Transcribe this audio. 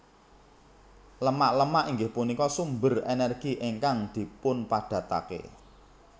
Lemak Lemak inggih punika sumber energi ingkang dipunpadatake